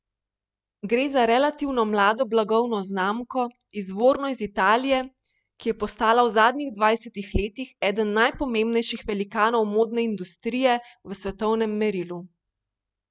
Gre za relativno mlado blagovno znamko, izvorno iz Italije, ki je postala v zadnjih dvajsetih letih eden najpomembnejših velikanov modne industrije v svetovnem merilu.